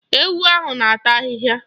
Ewu ahụ na-ata ahịhịa.